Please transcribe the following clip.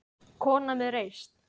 Kona með reisn.